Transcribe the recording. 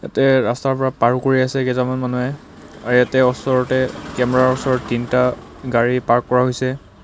ইয়াতে ৰাস্তাৰ পৰা পাৰ কৰি আছে কেইজনমান মানুহে আৰু এতে অচৰতে কেমেৰা ৰ ওচৰতে তিনিটা গাড়ী পাৰ্ক কৰা হৈছে.